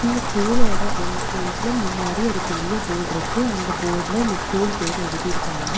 இந்த ஸ்கூலோட என்ட்ரன்ஸ்ல முன்னாடி ஒரு பெரிய போர்ட்ருக்கு அந்த போர்ல இந்த ஸ்கூல் பேர் எழுதிருக்காங்க.